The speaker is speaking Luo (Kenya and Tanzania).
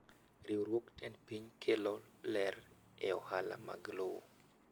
Riwruog tend piny kelo ler e ohala mag lowo.